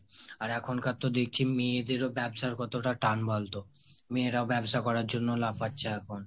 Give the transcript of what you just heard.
আর এখনকার তো দেখছি মেয়েদেরও ব্যাবসার কতটা টান বলতো! মেয়েরাও ব্যবসা করার জন্য লাফাচ্ছে এখন।